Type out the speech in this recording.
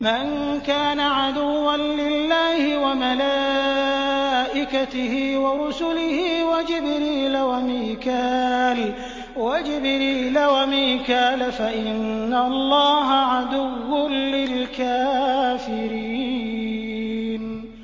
مَن كَانَ عَدُوًّا لِّلَّهِ وَمَلَائِكَتِهِ وَرُسُلِهِ وَجِبْرِيلَ وَمِيكَالَ فَإِنَّ اللَّهَ عَدُوٌّ لِّلْكَافِرِينَ